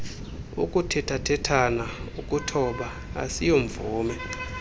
ukuthethathethana ukuthoba asiyomvume